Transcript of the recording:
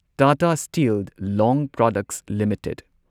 Tata steel long products limited